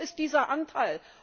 Wie hoch ist dieser Anteil?